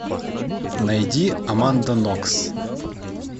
найди аманда нокс